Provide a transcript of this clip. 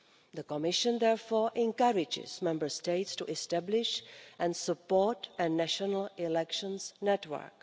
The Commission therefore encourages Member States to establish and support a national elections network.